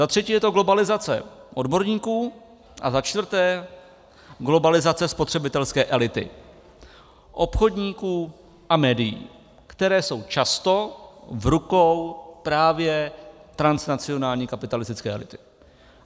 Za třetí je to globalizace odborníků a za čtvrté globalizace spotřebitelské elity, obchodníků a médií, která jsou často v rukou právě transnacionální kapitalistické elity.